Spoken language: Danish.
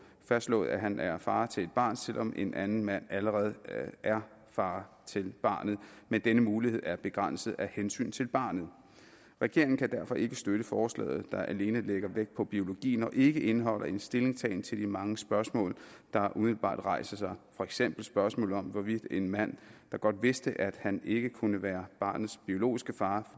fastslået at han er far til et barn selv om en anden mand allerede er far til barnet men denne mulighed er begrænset af hensyn til barnet regeringen kan derfor ikke støtte forslaget der alene lægger vægt på biologien og ikke indeholder en stillingtagen til de mange spørgsmål der umiddelbart rejser sig for eksempel spørgsmålet om hvorvidt en mand der godt vidste at han ikke kunne være barnets biologiske far